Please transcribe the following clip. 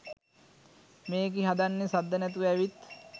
මේකි හදන්නේ සද්ද නැතුව ඇවිත්